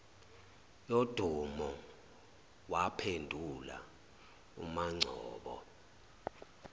yodumo waphendula umangcobo